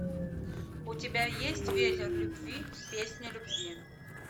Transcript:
у тебя есть ветер любви песня любви